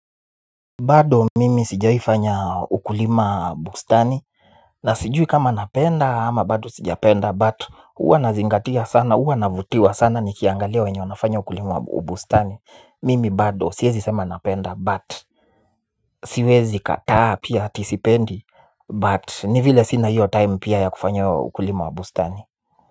Bado mimi sijaifanya ukulima wa bustani. Na sijui kama napenda ama bado sijapenda but uwa nazingatia sana, uwa navutiwa sana ni kiangalia wenye wanafanya ukulima wa bustani. Mimi bado siwezi sema napenda but siwezi kataa pia ati sipendi but ni vile sina hiyo time pia ya kufanya ukulima wa bustani.